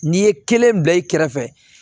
N'i ye kelen bila i kɛrɛfɛ